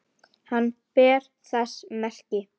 Hann ber þess merki